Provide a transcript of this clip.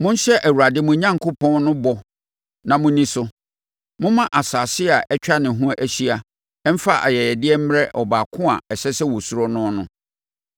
Monhyɛ Awurade mo Onyankopɔn no bɔ na monni so; momma nsase a atwa ne ho ahyia mfa ayɛyɛdeɛ mmrɛ Ɔbaako a ɛsɛ sɛ wɔsuro noɔ no.